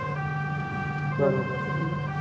બરોબર બરોબર